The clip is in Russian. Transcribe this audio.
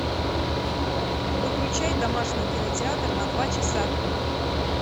выключай домашний кинотеатр на два часа